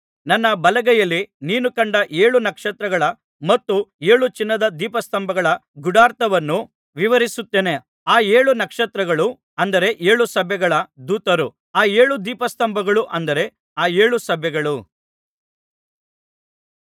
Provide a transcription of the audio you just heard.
ನನ್ನ ಬಲಗೈಯಲ್ಲಿ ನೀನು ಕಂಡ ಏಳು ನಕ್ಷತ್ರಗಳ ಮತ್ತು ಏಳು ಚಿನ್ನದ ದೀಪಸ್ತಂಭಗಳ ಗೂಢಾರ್ಥವನ್ನು ವಿವರಿಸುತ್ತೇನೆ ಆ ಏಳು ನಕ್ಷತ್ರಗಳು ಅಂದರೆ ಏಳು ಸಭೆಗಳ ದೂತರು ಆ ಏಳು ದೀಪಸ್ತಂಭಗಳು ಅಂದರೆ ಆ ಏಳು ಸಭೆಗಳು